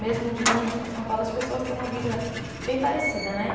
Mesmo de Minas, com São Paulo, as pessoas têm uma vida bem parecida né.